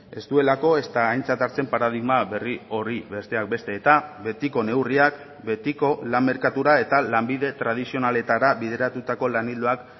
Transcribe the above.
ez duelako ezta aintzat hartzen paradigma berri hori besteak beste eta betiko neurriak betiko lan merkatura eta lanbide tradizionaletara bideratutako lan ildoak